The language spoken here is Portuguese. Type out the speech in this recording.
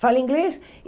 Fala inglês.